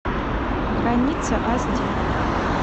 граница аш ди